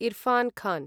Irfan Khan